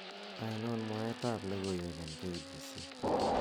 ainon mwaet ab logoiwek en k.b.c